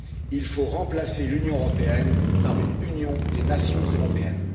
Il faut remplacer l'Union européenne par une union des nations européennes.